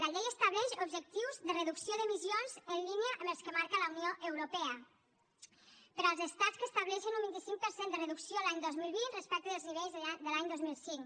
la llei estableix objectius de reducció d’emissions en línia amb els que marca la unió europea per als estats que estableixen un vint cinc per cent de reducció l’any dos mil vint respecte dels nivells de l’any dos mil cinc